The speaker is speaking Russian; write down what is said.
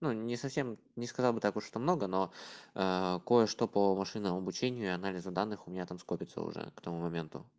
ну не совсем не сказал бы так уж много но кое-что по машинному обучению и анализу данных у меня там скопится уже к тому моменту